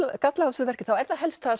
galli á þessu verki þá er það helst það